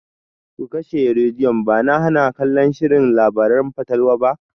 Ku kashe rediyon!ba na hana kallon shirin labaran fatalwa ba.